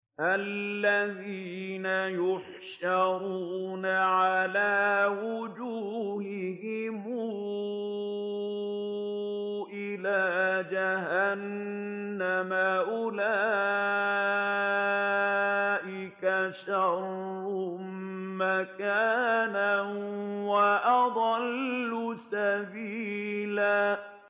الَّذِينَ يُحْشَرُونَ عَلَىٰ وُجُوهِهِمْ إِلَىٰ جَهَنَّمَ أُولَٰئِكَ شَرٌّ مَّكَانًا وَأَضَلُّ سَبِيلًا